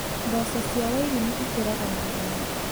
Mboco cia wairimũ ikũraga na ihenya.